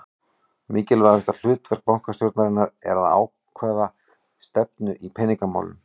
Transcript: Mikilvægasta hlutverk bankastjórnarinnar er að ákvarða stefnu í peningamálum.